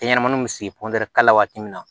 Denɲɛrɛnin bɛ sigi ka kala la waati min na